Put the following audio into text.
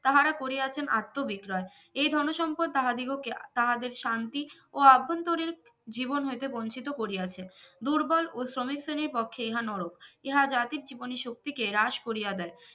তাহারা করিয়াছেন আত্মবিক্রয় এই ধনসম্পদ তাহাদিগকে তাহাদের শান্তি ও অভ্যন্তরীণ জীবন হইতে বঞ্চিত করিয়াছেন দুর্বল ও শ্রমিক শ্রেণির পক্ষে ইহা নরক ইহা জাতির জীবনই শক্তিকে হ্রাস করিয়া দেয়